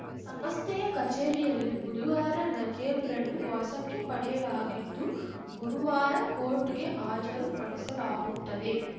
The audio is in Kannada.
ಸಮಸ್ಥೆಯ ಕಚೇರಿಯಲ್ಲಿ ಬುದುವಾರ ನಜೇಬ್‌ರನ್ನು ವಶಕ್ಕೆ ಪಡೆಯಲಾಗಿದ್ದು ಗುರುವಾರ ಕೋರ್ಟ್‌ಗೆ ಹಾಜರು ಪಡೆಸಲಾಗುತ್ತದೆ